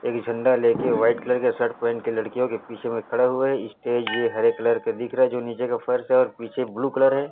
एक झंडा ले के व्हाइट कलर का शर्ट पहिन के लड़कियों के पीछे में खड़े हुए स्टेज ये हरे कलर के दिख रहा है जो नीचे का फर्श और पीछे ब्लू कलर हैं।